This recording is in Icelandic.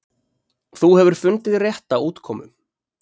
þú hefur fundið rétta útkomu